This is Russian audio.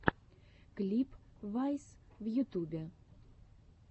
клип вайс в ютюбе